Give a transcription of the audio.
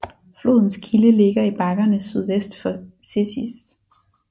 Flodens kilde ligger i bakkerne sydvest for Cēsis